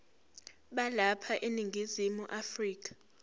balapha eningizimu afrika